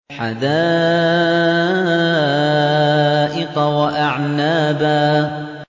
حَدَائِقَ وَأَعْنَابًا